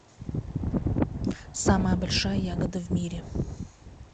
самая большая ягода в мире